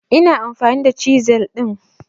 Ina amfani da chisel din